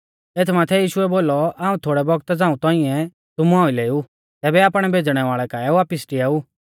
एथ माथै यीशुऐ बोलौ हाऊं थोड़ै बौगता झ़ांऊ तौंइऐ तुमु आइलै ऊ तैबै आपणै भेज़णै वाल़ै काऐ वापिस डिआऊ